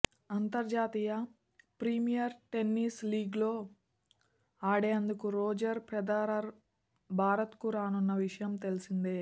అంతర్జాతీయ premier tennis లీగ్లో ఆడేందుకు రోజర్ ఫెదరర్ భారత్కు రానున్న విషయం తెలిసిందే